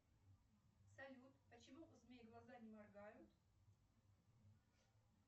салют почему у змей глаза не моргают